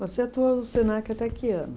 Você atuou no Senac até que ano?